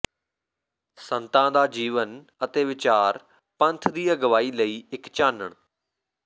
ਸੰਤਾਂ ਦਾ ਜੀਵਨ ਅਤੇ ਵਿਚਾਰ ਪੰਥ ਦੀ ਅਗਵਾਈ ਲਈ ਇੱਕ ਚਾਨਣ